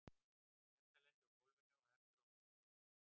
Edda lendir á gólfinu og heldur að nú sé hún sloppin.